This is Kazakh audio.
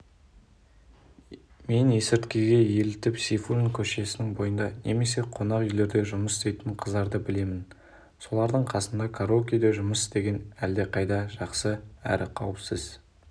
мен есірткіге елітіп сейфуллин көшесінің бойында немесе қонақүйлерде жұмыс істейтін қыздарды білемін солардың қасында караокеде жұмыс істеген әлдеқайда жақсы әрі қауіпсіз